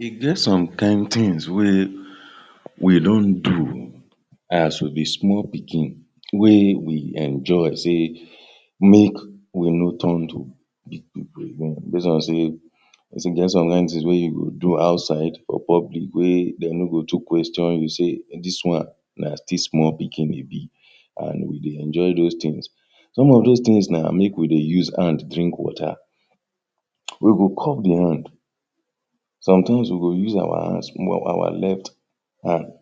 E get some kind tins wey we don do as we be small pikin wey we enjoy sey make we no turn to?? base on sey e get some kind tins wey you go do outside for public wey dem no go too question you say dis one na still small pikin e bi and we dey enjoy those tins some of dose tins na make we dey use hand drink water we go cup di hand sometimes we go use our hands small, our left hand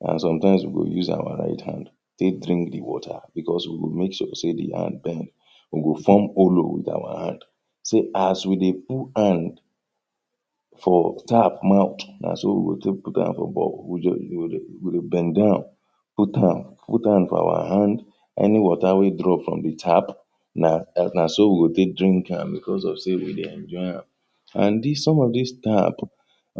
and sometimes we go use our right hand take drink di water because we go make sure sey di hand bend we go fom olo with our hand so as we dey put hand for tap mouth na so we go take put am for borehole, we go dey bend down put hand put hand for our hand any water wey drop from di tap na so we go take drink am because of sey we dey enjoy am and thn some of dis tap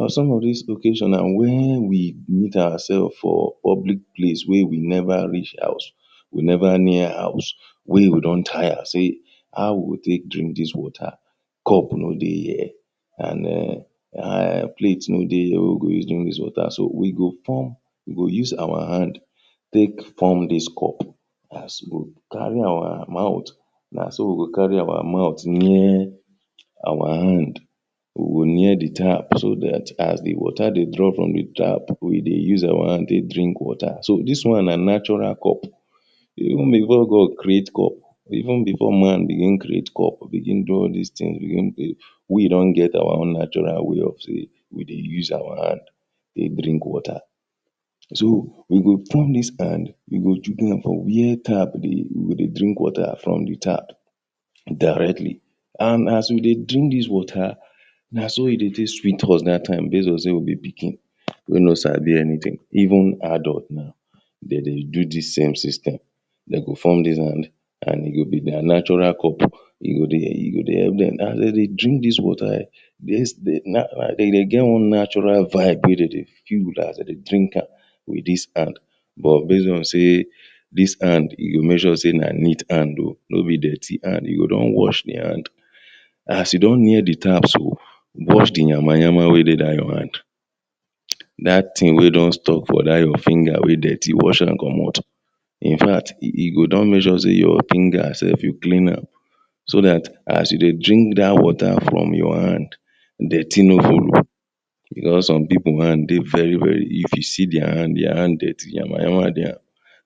some of dis location na wen we meet our sef for public place wey we never reach house we never near house wey we don tire say how we go take drink dis water cup no dey here and em and plate no dey here wey we go use drink dis water, so we go pump we go use our hand take pump dis cup as we go carry our mouth naso we go carry our mouth near our hand we go near di tap so dat as di water dey drop from di tap we dey use our hand dey drink water so, dis one na natural cup even before God create cup even before man begin create cup begin do all all dis tins begin dey we don get our own natural way of say, we dey use our hand dey drink water so, we go pump dis hand we go chuk am for wia tap dey, we go dey drink water from di tap directly and as we dey drink dis water na so e dey take sweet us dat time based on say we be pikin wey no sabi anytin, even adult now dem dey do dis same system dem go form dis hand and e go be dia natural cup e go dey help dem and dem dey drink dis water[um]yes, and dem dey get wan natural vibe wey dem dey build as dem dey drink am wit dis hand but based on say dis hand you go make sure say na neat hand o nobi dirty hand, you go don wash di hand as you don near di tap so wash di nyama-nyama wey dey dat your hand dat tin wey don stuck for dat your finger wey dirty, wash am comot in fact you go don make sure say your finger sef, you clean am so dat as you dey drink dat water from your hand dirty no follow because some pipo hand dey very very if you see dia hand, dia hand dirty, nyama nyama dey am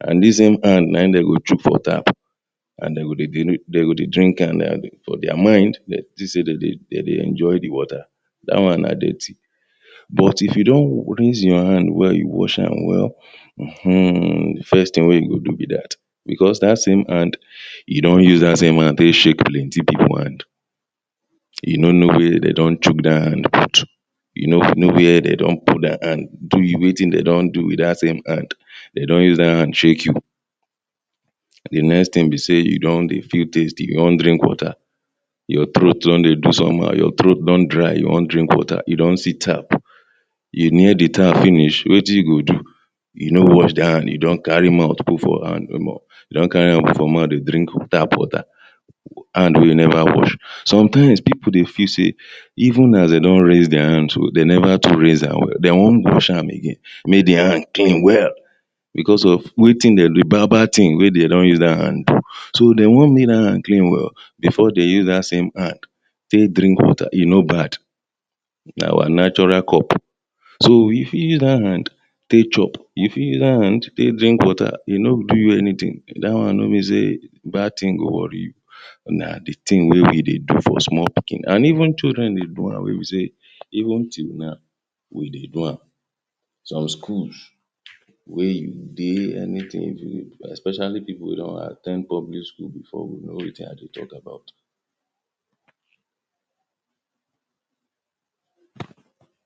and dis same hand na im dem go chuk for tap and dem go dey drink am like dat for dia mind dem think say dem dey enjoy di water dat one na dirty. But if you don rinse your hand well, you wash am well ehmm, first thing wey you go do be dat because dat same hand you don use dat same hand take shake plenty pipo hand you no know wia dem don chuk dat hand put you no know wia dem don put dia hand do you wetin dem don do wit dat same hand, dem don use dat hand shake you di next thing be say you don dey feel tasty, you wan drink water your throat don dey somehow, your throat don dry you wan drink water, you don see tap you near di tap finish, wetin you go do you no wash di hand you don carry mouth put for hand, omo! you don carry hand put for mouth dey drink tap water hand wey you never wash. sometimes pipo dey feel say even as dem don rinse dia hand so dem never too rinse am well dem wan wash again make dia hand clean well. because of wetin dem do, bad bad tin wey dem do use dat hand do, so dem wan make dat hand clean well before dem use dat same hand take drink water, e no bad. na our natural cup so, you fit use dat hand you fit use dat hand take chop, you fit dat hand take drink water, e no do you anytin dat one no mean say bad thing go worry you na di tin wey we dey do for small pikin and even children dey do am wey be say even till now we dey do am some schools wey you dey anything em, especially pipo wey don at ten d public school before go know wetin i dey talk about